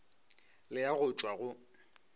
le a go tšwa go